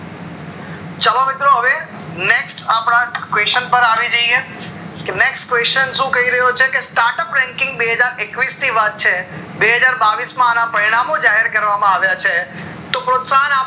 ચાલો મિત્રો હવે next અપડા question પર આવી જઈએ કે next question શું કહી રહ્યો છે કે start up ranking બે હજાર થી એકવીશ ની વાત છે બે હજાર બાવીશ માં અન પરિણામો જાહેર કરવામાં આવ્યા છે તો પ્રોસ્તાહન આપ